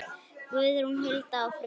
Guðrún, Hulda og Fríða.